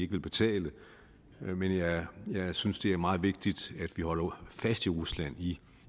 vil betale men jeg synes det er meget vigtigt at vi holder fast i rusland i